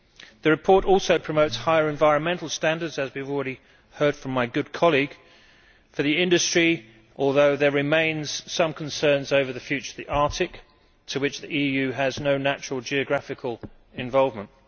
The report also promotes higher environmental standards as we have already heard from my good colleague for the industry, although there remain some concerns over the future of the Arctic, with which the EU has no natural geographical involvement.